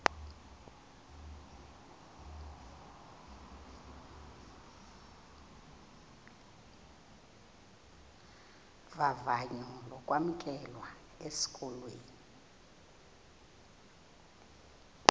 vavanyo lokwamkelwa esikolweni